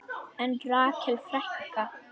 En Rakel frænka?